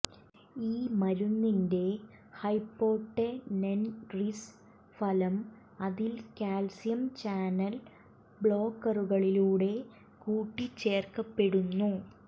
ഈ മരുന്നിന്റെ ഹൈപ്പോട്ടെനെൻറീസ് ഫലം അതിന്റെ കാൽസ്യം ചാനൽ ബ്ലോക്കറുകളിലൂടെ കൂട്ടിച്ചേർക്കപ്പെടുന്നു